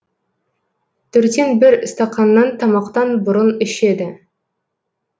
төрттен бір стақаннан тамақтан бұрын ішеді